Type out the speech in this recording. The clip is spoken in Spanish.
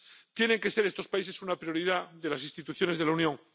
tienen que ser estos países una prioridad para las instituciones de la Unión.